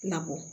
Nakɔ